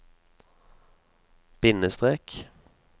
bindestrek